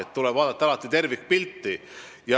Alati tuleb vaadata tervikpilti.